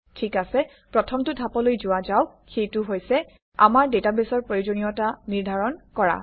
ঠিক আছে প্ৰথমটো ধাপলৈ যোৱা যাওক সেইটো হৈছে আমাৰ ডাটাবেছৰ প্ৰয়োজনীয়তা নিৰ্ধাৰণ কৰা